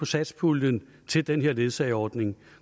satspuljen til den her ledsageordning